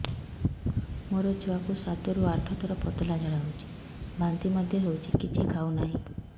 ମୋ ଛୁଆ କୁ ସାତ ରୁ ଆଠ ଥର ପତଳା ଝାଡା ହେଉଛି ବାନ୍ତି ମଧ୍ୟ୍ୟ ହେଉଛି କିଛି ଖାଉ ନାହିଁ